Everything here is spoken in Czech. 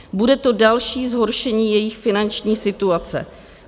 Bude to další zhoršení jejich finanční situace.